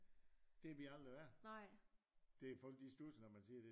Det vi aldrig været det folk de studser når man siger det